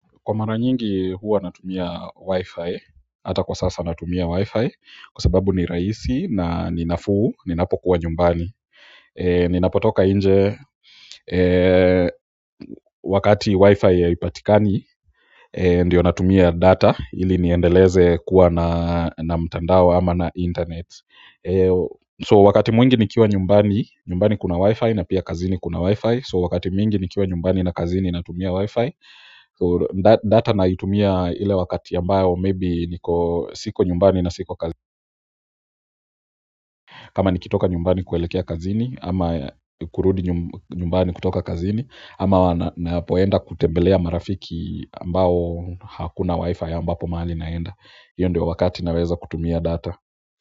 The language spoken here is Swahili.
Kwa mara nyingi huwa natumia Wi-Fi, ata kwa sasa natumia Wi-Fi kwa sababu ni rahisi na ninafuu ninapokuwa nyumbani. Ninapotoka nje wakati Wi-Fi haipatikani ndiyo natumia data ili niendeleze kuwa na mtandao ama na internet so wakati mwingi nikiwa nyumbani, nyumbani kuna Wi-Fi na pia kazini kuna Wi-Fi so wakati mwingi nikiwa nyumbani na kazini natumia Wi-Fi. Data naitumia ile wakati ambayo may be niko siko nyumbani na siko kazini kama nikitoka nyumbani kuelekea kazini ama kurudi nyumbani kutoka kazini ama ninapoenda kutembelea marafiki ambao hakuna wi-fi ambapo mahali naenda hiyo ndio wakati naweza kutumia data.